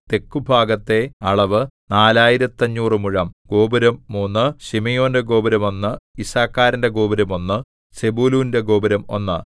തെക്കുഭാഗത്തെ അളവ് നാലായിരത്തഞ്ഞൂറു മുഴം ഗോപുരം മൂന്ന് ശിമെയോന്റെ ഗോപുരം ഒന്ന് യിസ്സാഖാരിന്റെ ഗോപുരം ഒന്ന് സെബൂലൂന്റെ ഗോപുരം ഒന്ന്